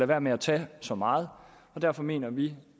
være med at tage så meget og derfor mener vi